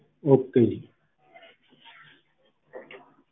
okay